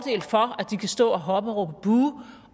de kan stå og hoppe og råbe buh